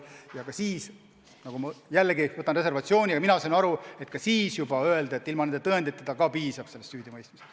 Ja ka siis – jällegi ma ütlen seda reservatsiooniga, aga mina sain nii aru – juba öeldi, et ka ilma nende tõenditeta on alust süüdimõistmiseks.